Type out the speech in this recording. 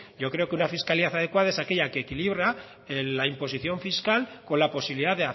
yo creo que una fiscalidad adecuada es aquella que equilibra la imposición fiscal con la posibilidad